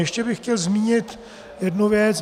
Ještě bych chtěl zmínit jednu věc.